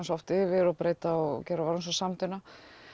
svo oft yfir breyta og orðin samdauna